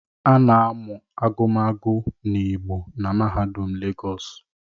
A na-amụ agụmagụ n’Igbo na mahaudum legos?